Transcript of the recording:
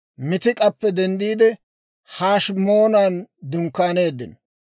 Miitik'appe denddiide, Hashimoonan dunkkaaneeddino.